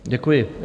Děkuji.